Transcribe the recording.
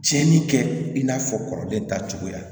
Cɛnni kɛ i n'a fɔ kɔrɔlen tacogoya